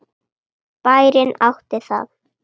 Bærinn átti það.